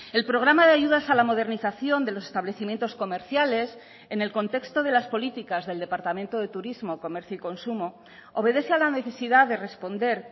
el programa de ayudas a la modernización de los establecimientos comerciales en el contexto de las políticas del departamento de turismo comercio y consumo obedece a la necesidad de responder